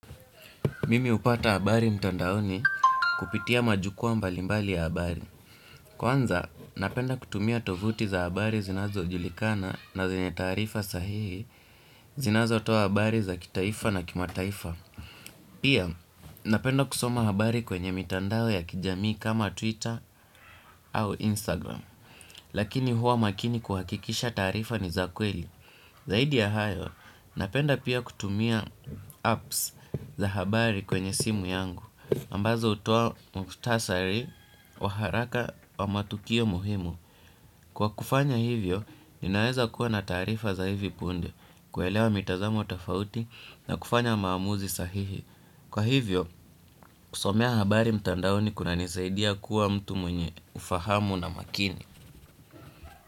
Mimi hupata habari mtandaoni, kupitia majukua mbalimbali ya habari. Kwanza, napenda kutumia tovuti za habari zinazo ujulikana na zenye taarifa sahihi. Zinazotoa habari za kitaifa na kimataifa. Pia, napenda kusoma habari kwenye mitandao ya kijamii kama Twitter au Instagram. Lakini huwa makini kuhakikisha taarifa ni za kweli. Zaidi ya hayo, napenda pia kutumia apps za habari kwenye simu yangu. Ambazo hutoa mukhtasari wa haraka wa matukio muhimu, kwa kufanya hivyo, ninaweza kuwa na taarifa za hivi punde, kuelewa mitazama wa tofauti na kufanya maamuzi sahihi, kwa hivyo, kusomea habari mtandaoni kunanisaidia kuwa mtu mwenye ufahamu na makini.